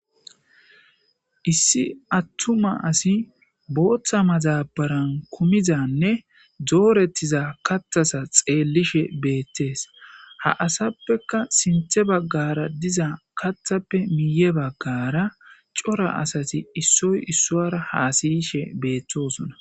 issi attuma asi booththa mazabaran kumizanne doorettiza katthasa xeellishe beettees ha asappeka sinthe baggara diza katthappe miiye baggara cora asati issoy issoara haasiyishe beettosona